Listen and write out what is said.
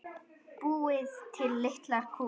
Búið til litlar kúlur.